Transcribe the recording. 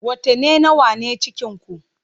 Watanni nawa ne cikinku?